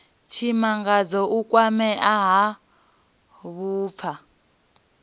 tshimangadzo u kwamea ha vhupfa